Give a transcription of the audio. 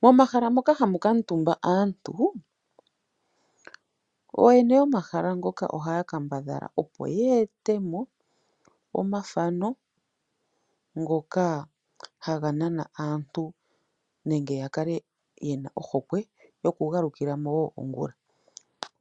Momahala moka hamu kamutumba aantu, ooyene yomahala ngoka oya kambadhala opo ye ete monomathano ngoka haga nana aantu nenge ya kale ye na ohokwe yoku galukila mo wo ongula.